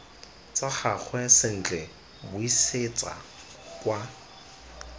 tsa gagwe sentle buisetsa kwa